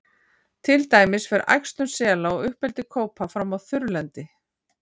til dæmis fer æxlun sela og uppeldi kópa fram á þurrlendi